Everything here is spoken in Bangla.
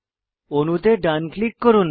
অণুতে ডান ক্লিক করুন